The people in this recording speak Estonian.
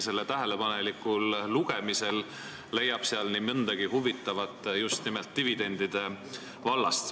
Selle tähelepanelikul lugemisel leiab nii mõndagi huvitavat just nimelt dividendide vallast.